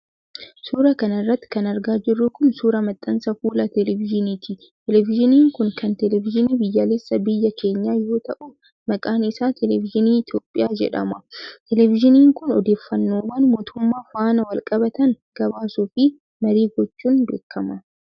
Suura kana irratti kan argaa jirru kun ,suura maxxansa fuula teleevizyiniiti. Televizyiniin kun kan teleevizyinii biyyaalessaa biyya keenyaa yoo ta'u, maqaan isaa Teleevizyinii Itoophiyaa jedhama. Teleevizyiniin kun, odeeffannoowwan mootummaa faana walqabatan gabaasuu fi marii gochuun beekama.